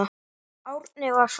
Árni var farinn.